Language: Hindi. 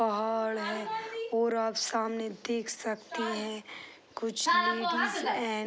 पहाड़ है और आप देख सकते हैं की कुछ लेडिस है।